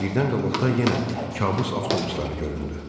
Birdən qabaqda yenə kabus avtobusları göründü.